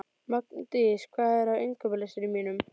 Magndís, hvað er á innkaupalistanum mínum?